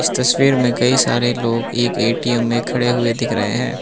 तस्वीर में कई सारे लोग एक ए_टी_एम में खड़े हुए दिख रहें हैं।